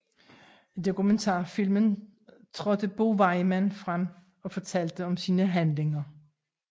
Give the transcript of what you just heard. I dokumentarfilmen trådte Bo Weymann frem og fortalte om sine handlinger